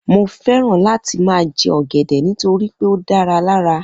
Mo fẹ́ràn láti má jè ọgẹdẹ nitoripe o da lara